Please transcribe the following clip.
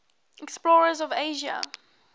explorers of asia